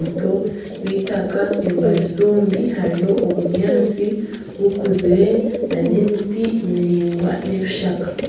nibavuga akaato barikukoresa enkatsi bombi tibajwaire esaati kandi buri omwe navuga orubaju orwe orwakaato